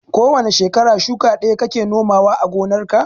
Ko wane shekara shuka ɗaya kake nomawa a gonarka.